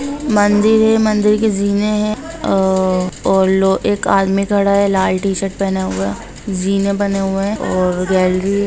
मंदिर है मंदिर के जीने हैं अ और लो एक आदमी खड़ा है लाल टी-शर्ट पहने हुआ जीने बने हुए हैं और गैलरी --